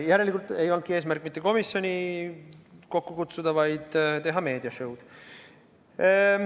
Järelikult ei olnudki eesmärk mitte komisjoni kokku kutsuda, vaid teha meediašõud.